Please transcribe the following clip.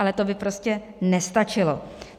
Ale to by prostě nestačilo.